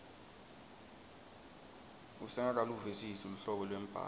usengakaluvisisi luhlobo lwembhalo